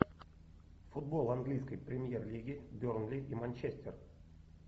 футбол английской премьер лиги бернли и манчестер